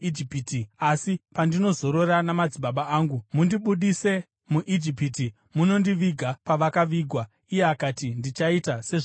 asi pandinozorora namadzibaba angu, mundibudise muIjipiti munondiviga pavakavigwa.” Iye akati, “Ndichaita sezvamareva.”